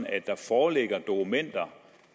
at der foreligger dokumenter